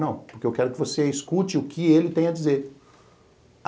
Não, porque eu quero que você escute o que ele tem a dizer.